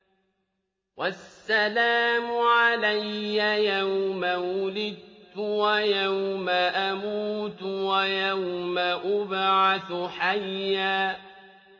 وَالسَّلَامُ عَلَيَّ يَوْمَ وُلِدتُّ وَيَوْمَ أَمُوتُ وَيَوْمَ أُبْعَثُ حَيًّا